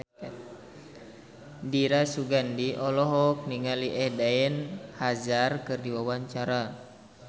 Dira Sugandi olohok ningali Eden Hazard keur diwawancara